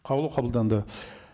қаулы қабылданды